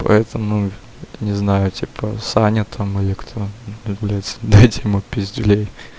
поэтому не знаю типа саня там или кто блядь дать ему пиздюлей